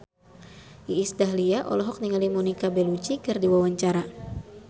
Iis Dahlia olohok ningali Monica Belluci keur diwawancara